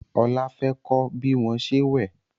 Ola fè kò bí wón ṣe wẹ